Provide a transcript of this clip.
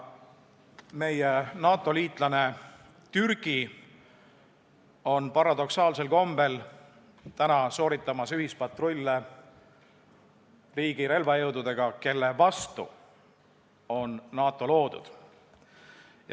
Meie NATO-liitlane Türgi on paradoksaalsel kombel täna sooritamas ühispatrulle selle riigi relvajõududega, kelle vastu on NATO loodud.